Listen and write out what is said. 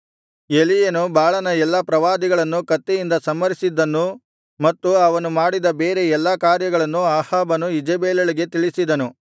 ಎಲೀಯನು ಬಾಳನ ಎಲ್ಲಾ ಪ್ರವಾದಿಗಳನ್ನು ಕತ್ತಿಯಿಂದ ಸಂಹರಿಸಿದ್ದನ್ನೂ ಮತ್ತು ಅವನು ಮಾಡಿದ ಬೇರೆ ಎಲ್ಲಾ ಕಾರ್ಯಗಳನ್ನೂ ಅಹಾಬನು ಈಜೆಬೆಲಳಿಗೆ ತಿಳಿಸಿದನು